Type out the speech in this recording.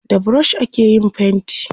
da brush ake yin fainti